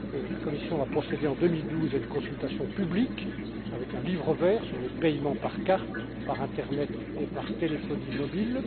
La Commission a procédé en 2012 à une consultation publique avec un livre vert sur les paiements par carte, par internet et par téléphonie mobile.